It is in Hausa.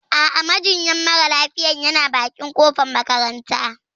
A'a, majinyar mara lafiyayana bakin kofar makaranta.